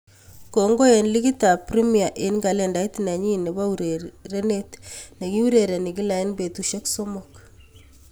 Kongoi eng ligit ab Premier eng kalendait nenyin ab urerenet nekiurereni kila eng betusiek somok.